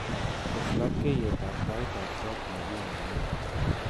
Tes labkeyetab taitab kot nekimungen